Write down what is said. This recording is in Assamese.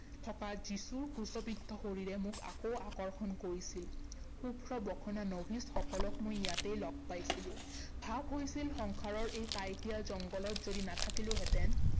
থকা যীচুৰ ক্ৰছবিদ্ধ শৰীৰে মোক আকৌ আকৰ্ষণ কৰিছিল। শুভ্ৰ বসনা নভিছসকলক মই ইয়াতেই লগ পাইছিলো। ভাৱ হৈছিল সংসাৰৰ এই কাইটিয়া জংঘলত যদি নেথাকিলোহেঁতেন